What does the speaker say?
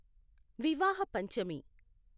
వివాహ పంచమి